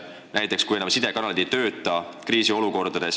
Mis saab kriisiolukorras, kui sidekanalid ei tööta?